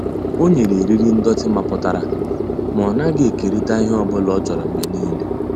O nyere eriri ndọtị mapụtara ma ọ naghị ekerịta ihe ọ bụla ọ chọrọ mgbe niile.